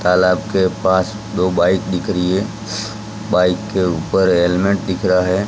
तालाब के पास दो बाइक दिख रही है बाइक के ऊपर हेलमेट दिख रहा है।